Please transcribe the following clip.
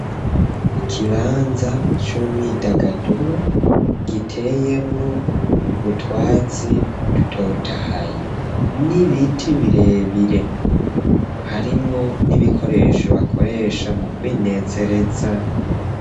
Ikibanza c'umwidagaduro giteyemwo utwatsi dutotahaye, n'ibiti birebire, harimwo n'ibikoresho, bakoresha mu kwinezereza.